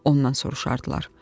Ondan soruşardılar.